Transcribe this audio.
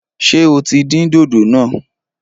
Ṣé o tí dín dòdò náà?